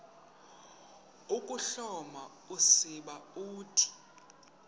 ukuhloma usiba uthi